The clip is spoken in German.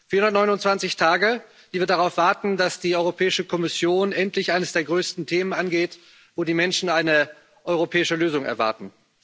429 Tage, die wir darauf warten, dass die Europäische Kommission endlich eines der größten Themen angeht, bei dem die Menschen eine europäische Lösung erwarten.